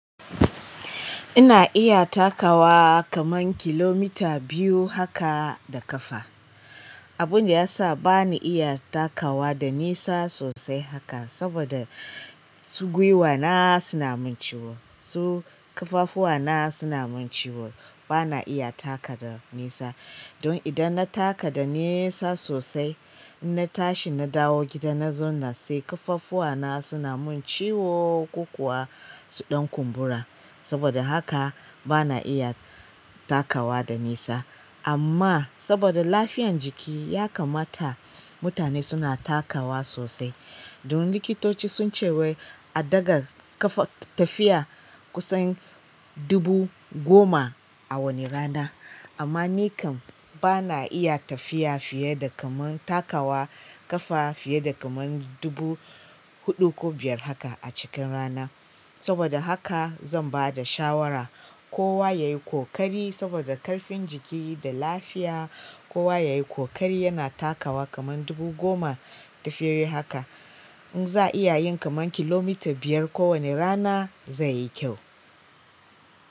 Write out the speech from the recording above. Ina iya takawa kaman kilomita biyu haka da ƙafa. Abunda ya sa bani iya takawa da nisa sosai haka saboda su gwiwa na suna mun ciwo, su kaffafuwa na suna mun ciwo. Bana iya taka da nisa. Don idan na taka da nisa sosai, in na tashi na dawo gida na zauna sai ƙaffafuwa na suna mun ciwo, kukuwa su ɗan kumbura. Saboda haka bana iya takawa da nisa. Amma saboda lafiyan jiki ya kamata mutane suna takawa sosai. Don likitoci sun ce wai a daga ƙafa tafiya kusan dubu goma a wani rana. Amma ni kam bana iya tafiya fiye da kaman takawa ƙafa fiye da kaman dubu huɗu ko biyar haka a cikin rana. Saboda haka zan ba da shawara kowa yayi ƙoƙari saboda ƙarfin jiki da lafiya kowa yayi ƙoƙari yana takawa kaman dubu goma tafiyoyi haka. Inza a yin kaman kilomita biyar ko wane rana zai yi kyau.